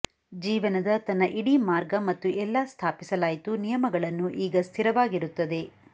ಜೀವನದ ತನ್ನ ಇಡೀ ಮಾರ್ಗ ಮತ್ತು ಎಲ್ಲಾ ಸ್ಥಾಪಿಸಲಾಯಿತು ನಿಯಮಗಳನ್ನು ಈಗ ಸ್ಥಿರವಾಗಿರುತ್ತದೆ